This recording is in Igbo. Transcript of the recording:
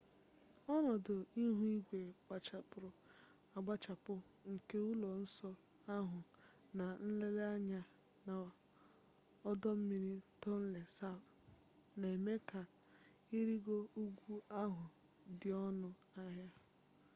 ọnọdụ ihu igwe gbachapụrụ agbachapụ nke ụlọ nsọ ahụ na nlele anya na ọdọ mmiri tonle sap na-eme ka ịrịgo ugwu ahụ dị ọnụ ahịa